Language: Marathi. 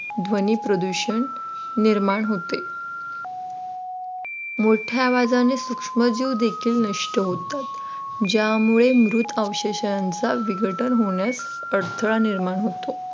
ध्वनी प्रदूषण निर्माण होते. मोठ्या आवाजांनी सूक्ष्मजीव देखील नष्ट होतात ज्यामुळे मृत अवशेषांचा विघटन होण्यास अडथळा निर्माण होतो.